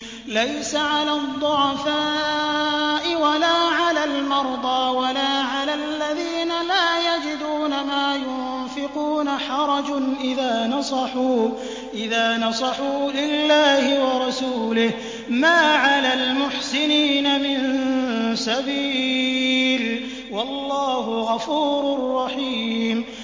لَّيْسَ عَلَى الضُّعَفَاءِ وَلَا عَلَى الْمَرْضَىٰ وَلَا عَلَى الَّذِينَ لَا يَجِدُونَ مَا يُنفِقُونَ حَرَجٌ إِذَا نَصَحُوا لِلَّهِ وَرَسُولِهِ ۚ مَا عَلَى الْمُحْسِنِينَ مِن سَبِيلٍ ۚ وَاللَّهُ غَفُورٌ رَّحِيمٌ